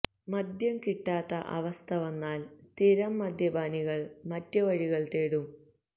മദ്യം കിട്ടാത്ത അവസ്ഥ വന്നാല് സ്ഥിരം മദ്യപാനികള് മറ്റ് വഴികള് തേടും